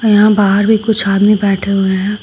यहां बाहर भी कुछ आदमी बैठे हुए हैं।